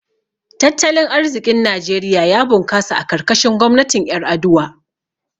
Tattalin arziƙin Najeriya ya bunkasa a karkashin gwamnatin Ƴar’aduwa.